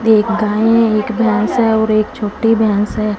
एक गाय है एक भैंस है और एक छोटी भैंस है।